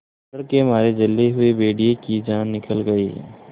डर के मारे जले हुए भेड़िए की जान निकल गई